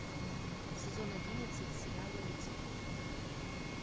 сезон одиннадцать сериала люцифер